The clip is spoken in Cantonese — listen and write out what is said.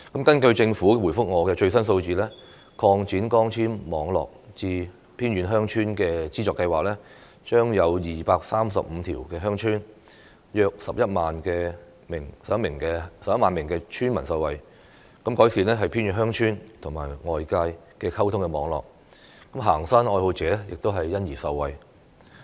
根據政府向我提供的回覆，擴展光纖網絡至偏遠地區鄉村資助計劃將令235條鄉村、約11萬名村民受惠，改善偏遠鄉村與外界的溝通網絡，行山愛好者亦因而受惠。